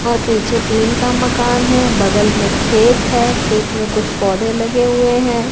और पीछे टीन का मकान है बगल में खेत है खेत में कुछ पौधे लगे हुए हैं।